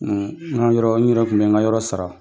Na yɔrɔ n yɛrɛ tun bɛ n ka yɔrɔ sara.